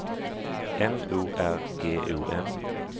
M O R G O N